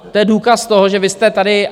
To je důkaz toho, že vy jste tady...